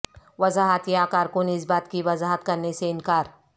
وضاحت یا کارکن اس بات کی وضاحت کرنے سے انکار